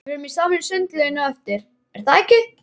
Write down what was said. Við förum saman í sundlaugina á eftir, er það ekki?